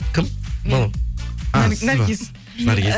кім ааа сіз бе наргиз наргиз і